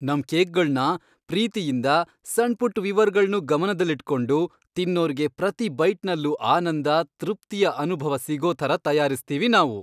ನಮ್ ಕೇಕ್ಗಳ್ನ ಪ್ರೀತಿಯಿಂದ, ಸಣ್ಪುಟ್ಟ್ ವಿವರಗಳ್ನೂ ಗಮನ್ದಲ್ಲಿಟ್ಕೊಂಡು ತಿನ್ನೋರ್ಗೆ ಪ್ರತೀ ಬೈಟ್ನಲ್ಲೂ ಆನಂದ, ತೃಪ್ತಿಯ ಅನುಭವ ಸಿಗೋ ಥರ ತಯಾರಿಸ್ತೀವಿ ನಾವು.